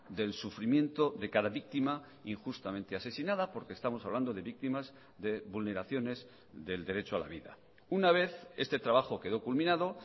del sufrimiento de cada víctima injustamente asesinada porque estamos hablando de víctimas de vulneraciones del derecho a la vida una vez este trabajo quedó culminado